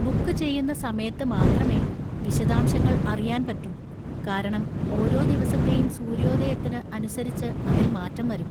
Book ചെയ്യുന്ന സമയത്ത് മാത്രമേ വിശദാംശങ്ങൾ അറിയാൻ പറ്റൂ, കാരണം ഓരോ ദിവസത്തെയും സൂര്യോദയത്തിന് അനുസരിച്ച് അതിൽ മാറ്റം വരും.